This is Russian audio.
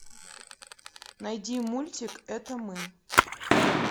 найди мультик это мы